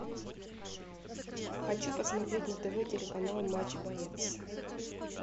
хочу посмотреть на тв телеканал матч боец